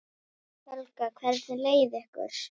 Helga: Hvernig leið ykkur?